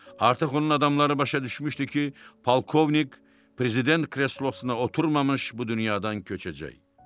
Artıq onun adamları başa düşmüşdü ki, polkovnik prezident kreslosuna oturmamış bu dünyadan köçəcək.